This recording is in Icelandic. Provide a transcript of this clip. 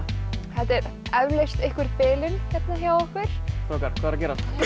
þetta er eflaust einhver bilun hérna hjá okkur strákar hvað er að